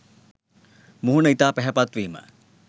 මුහුණ ඉතා පැහැපත් වීම